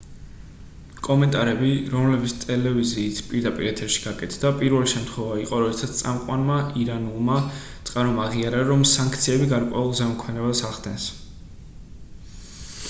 კომენტარები რომლებიც ტელევიზიით პირდაპირ ეთერში გაკეთდა პირველი შემთხვევა იყო როდესაც წამყვანმა ირანულმა წყარომ აღიარა რომ სანქციები გარკვეულ ზემოქმედებას ახდენს